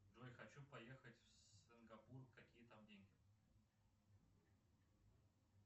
джой хочу поехать в сингапур какие там деньги